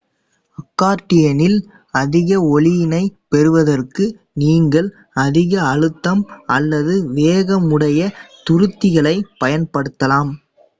அக்கார்டியனில் அதிக ஒலியினைப் பெறுவதற்கு நீங்கள் அதிக அழுத்தம் அல்லது வேகமுடைய துருத்திகளைப் பயன்படுத்தலாம்